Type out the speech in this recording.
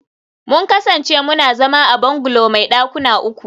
mun kasance muna zama a bungalow mai dakuna uku